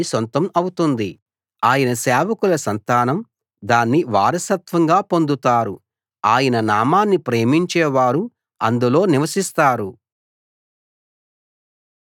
ఆయన సేవకుల సంతానం దాన్ని వారసత్వంగా పొందుతారు ఆయన నామాన్ని ప్రేమించేవారు అందులో నివసిస్తారు